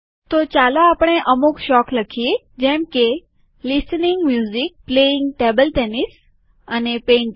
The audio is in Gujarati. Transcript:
હવે ચાલો આપણે અમુક શોખ લખીએ જેમ કે listening music playing table tennis અને પેઈન્ટીંગ